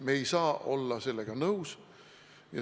Me ei saa olla sellega nõus.